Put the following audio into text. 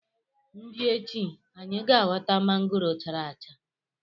m bia echi, anyi ga ghota mangoro chara acha.